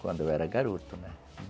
Quando eu era garoto, né?